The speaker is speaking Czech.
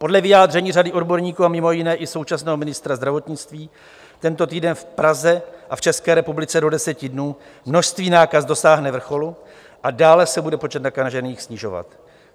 Podle vyjádření řady odborníků a mimo jiné i současného ministra zdravotnictví tento týden v Praze a v České republice do deseti dnů množství nákaz dosáhne vrcholu a dále se bude počet nakažených snižovat.